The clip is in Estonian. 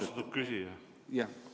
Austatud küsija!